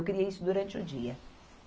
Eu queria isso durante o dia.